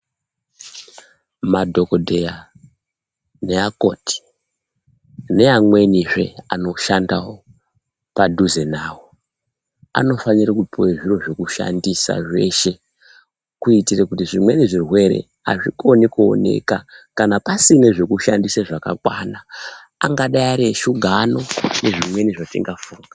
Madhogodheya neakoti neamwenizvee anoshanda pedo nawo anofanira kupiwa zvekushandisa zvese, kuitira kuti zvimweni zvirwere azvikoni kuoneka, kana pasina zvekushandisa zvakakwana. Angadai Ari eshuga ano, nezvimweni zvatingafunga.